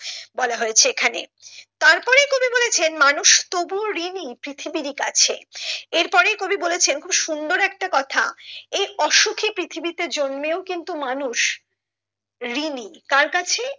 বলা হয়েছে এখানে তার পরেই কবি বলেছেন মানুষ তবুও ঋণী পৃথিবীর কাছে এরপরে ই কবি বলেছেন সুন্দর একটা কথা এই অসুখী পৃথিবীতে জন্মেও কিন্তু মানুষ ঋণী কার কাছে